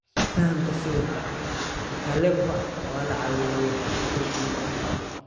Fahamka sawirka, Mkalekwa waa la caawiyey xakiin inuu kaco.